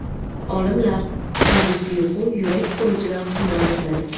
Olimlar: Kunduzgi uyqu yurak xurujidan himoya qiladi.